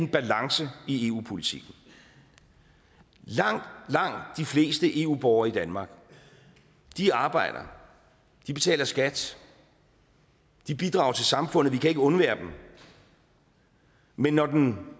en balance i eu politikken langt de fleste eu borgere i danmark arbejder de betaler skat de bidrager til samfundet og vi kan ikke undvære dem men når den